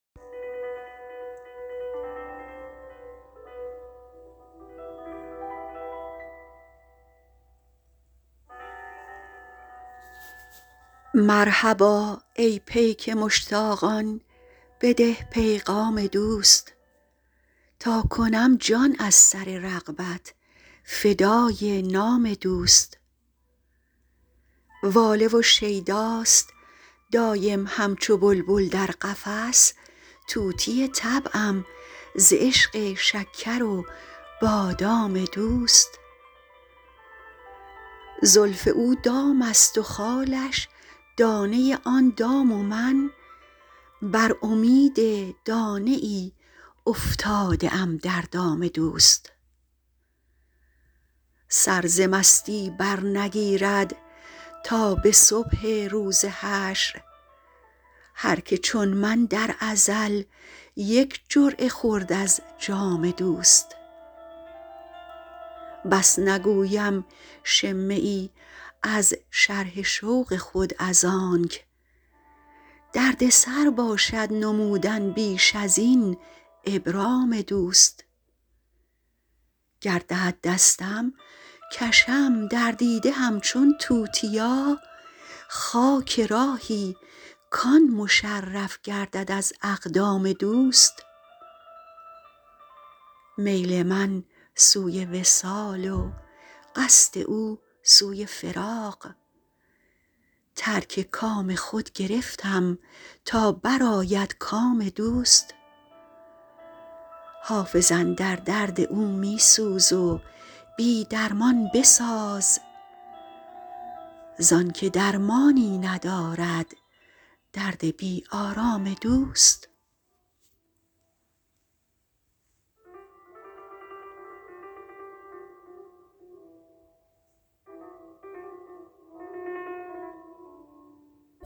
مرحبا ای پیک مشتاقان بده پیغام دوست تا کنم جان از سر رغبت فدای نام دوست واله و شیداست دایم همچو بلبل در قفس طوطی طبعم ز عشق شکر و بادام دوست زلف او دام است و خالش دانه آن دام و من بر امید دانه ای افتاده ام در دام دوست سر ز مستی برنگیرد تا به صبح روز حشر هر که چون من در ازل یک جرعه خورد از جام دوست بس نگویم شمه ای از شرح شوق خود از آنک دردسر باشد نمودن بیش از این ابرام دوست گر دهد دستم کشم در دیده همچون توتیا خاک راهی کـ آن مشرف گردد از اقدام دوست میل من سوی وصال و قصد او سوی فراق ترک کام خود گرفتم تا برآید کام دوست حافظ اندر درد او می سوز و بی درمان بساز زان که درمانی ندارد درد بی آرام دوست